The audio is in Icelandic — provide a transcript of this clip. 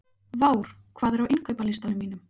Vár, hvað er á innkaupalistanum mínum?